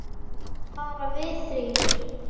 Bara við þrír.